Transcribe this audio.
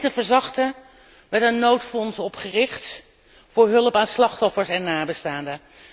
En om het leed te verzachten, werd een noodfonds opgericht voor hulp aan slachtoffers en nabestaanden.